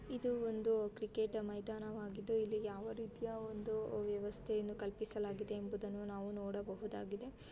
ಇದು ಒಂದು ಕ್ರಿಕೆಟ್ ಮೈದಾನವಾಗಿದೆ. ಇಲ್ಲಿ ಯಾವ ರೀತಿಯ ಒಂದು ವೆವಸ್ಥೆಯನು ಕಲ್ಪಿಸಲಾಗಿದೆ ಎಂಬುದನು ನಾವು ನುಡಬಹುದಾಗಿದೆ.